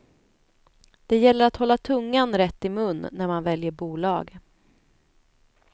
Det gäller att hålla tungan rätt i mun när man väljer bolag.